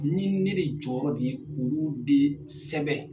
Ni ni bɛ jɔyɔrɔ de ye k'ulu de sɛbɛn.